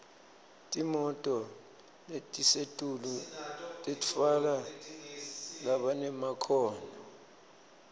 timoto letisetulu titfwala labanemakhono